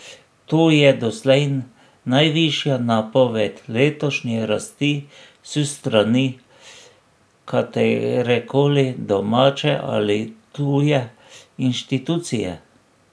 To je doslej najvišja napoved letošnje rasti s strani katerekoli domače ali tuje inštitucije.